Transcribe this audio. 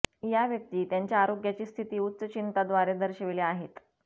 या व्यक्ती त्यांच्या आरोग्याची स्थिती उच्च चिंता द्वारे दर्शविले आहेत